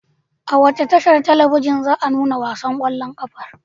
A wace tashar talabijin za a nuna wasan ƙwallon ƙafar?